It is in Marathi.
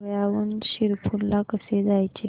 धुळ्याहून शिरपूर ला कसे जायचे